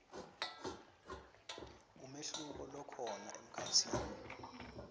umehluko lokhona emkhatsini